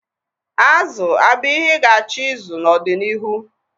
Azụ abụ ihe ị ga-achọ ịzụ n'ọdịnihu?